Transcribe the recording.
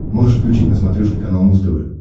можешь включить на смотрешке канал муз тв